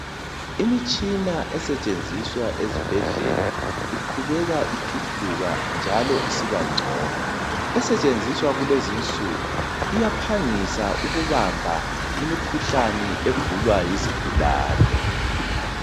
Imitshina esetshenziswa ezibhedlela iqhubeka ithuthuka njalo isiba ngcono esetshenziswa kulezinsuku iyaphangisa ukuhamba imikhuhlane egulwa yizigulani